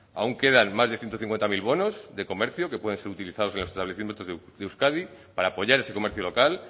aún quedan más de ciento cincuenta mil bonos de comercio que pueden ser utilizados en los establecimientos de euskadi para apoyar ese comercio local